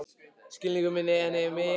Skilningur minn er henni mikils virði.